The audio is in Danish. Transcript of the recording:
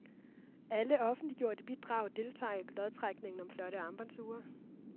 Alle offentliggjorte bidrag deltager i lodtrækningen om flotte armbåndsure.